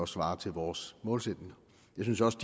svarer til vores målsætninger jeg synes også